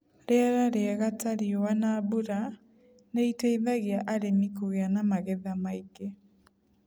Rĩera rĩega, ta riũa na mbura, nĩ iteithagia arĩmi kũgĩa na magetha maingĩ.